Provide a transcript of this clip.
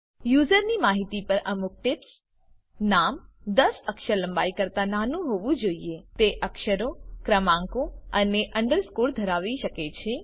યુઝરની માહિતી પર અમુક ટીપ્સ નામ ૧૦ અક્ષર લંબાઈ કરતા નાનું હોવું જોઈએ તે અક્ષરો ક્રમાંકો અને અંડરસ્કોર ધરાવી શકે છે